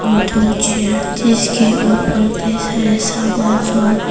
दो चेयर जिसके ऊपर कई सारे सामान और--